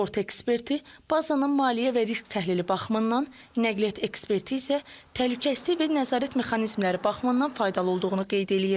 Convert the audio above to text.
Sığorta eksperti bazanın maliyyə və risk təhlili baxımından, nəqliyyat eksperti isə təhlükəsizlik və nəzarət mexanizmləri baxımından faydalı olduğunu qeyd eləyir.